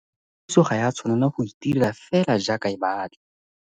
Tirelopuso ga ya tshwanela go itirela fela jaaka e batla.